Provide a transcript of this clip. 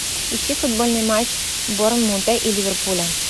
ищи футбольный матч борнмута и ливерпуля